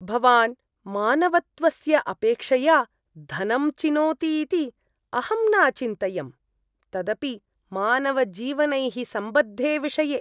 भवान् मानवत्वस्य अपेक्षया धनं चिनोति इति अहं न अचिन्तयम्, तदपि मानवजीवनैः सम्बद्धे विषये।